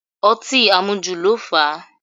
Ọtí àmujù ló fà á